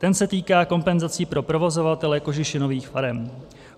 Ten se týká kompenzací pro provozovatele kožešinových farem.